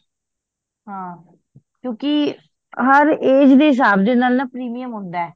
ਹਾਂ ਕਿਓਂਕਿ ਹਰ age ਦੇ ਹਿਸਾਬ ਦੇ ਨਾਲ ਨਾ premium ਹੁੰਦਾ